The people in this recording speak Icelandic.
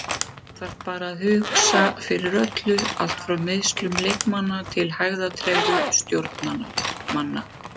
Þú þarft bara að hugsa fyrir öllu, allt frá meiðslum leikmanna til hægðatregðu stjórnarmanna.